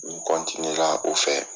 Ni n la o fɛ